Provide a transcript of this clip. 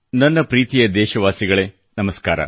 ನನ್ನ ಪ್ರೀತಿಯ ದೇಶವಾಸಿಗಳೇ ನಮಸ್ಕಾರ